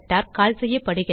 கால் செய்யப்படுகிறது